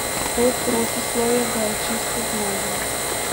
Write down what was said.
To protislovje ga je čisto zmedlo.